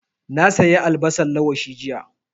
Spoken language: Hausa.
Na sayi albasan lawashi jiya